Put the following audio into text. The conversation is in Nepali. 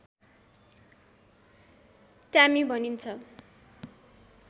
ट्यामी भनिन्छ